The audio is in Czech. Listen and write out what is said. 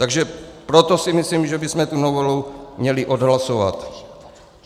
Takže proto si myslím, že bychom tu novelu měli odhlasovat.